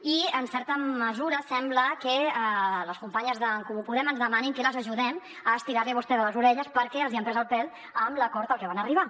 i en certa mesura sembla que les companyes d’en comú podem ens demanin que les ajudem a estirar li a vostè les orelles perquè els hi han pres el pèl amb l’acord al que van arribar